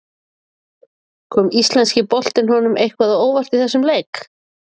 Kom Íslenski boltinn honum eitthvað á óvart í þessum leik?